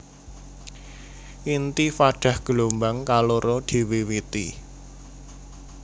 Intifadah gelombang kaloro diwiwiti